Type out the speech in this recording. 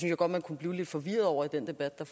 jeg godt man kunne blive lidt forvirret over i den debat der